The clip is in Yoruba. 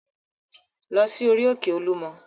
Lọ sí orí-òkè Olúmọ!